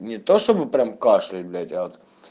не то чтобы прям кашлять блять а